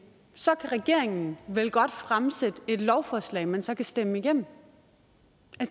så kan regeringen vel godt fremsætte et lovforslag man så kan stemme igennem